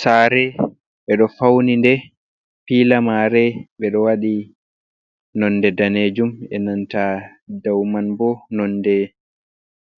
Saare ɓe ɗo fauni nde, piila maare ɓe ɗo waɗi nonde daneejum e nanta dow man bo nonde